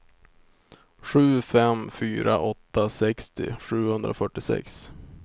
sju fem fyra åtta sextio sjuhundrafyrtiosex